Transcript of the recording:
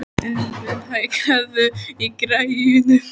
Elínbet, hækkaðu í græjunum.